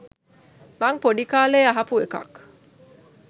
මං පොඩි කාලේ අහපු එකක්